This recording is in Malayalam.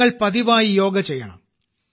നിങ്ങൾ പതിവായി യോഗ ചെയ്യണം